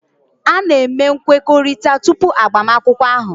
A na-eme nkwekọrịta tupu agbamakwụkwọ ahụ